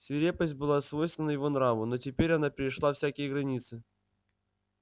свирепость была свойственна его нраву но теперь она перешла всякие границы